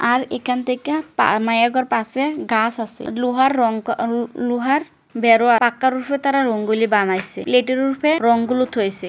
আর এখান থেকে মাইয়াগর পাশে গাছ আছে। লুহার রং ক লুহার বেড়া পাকার ওপর তারা রংগুলি বানাইছে। প্লেট -এর ওপরে রং গুলি থুইছে ।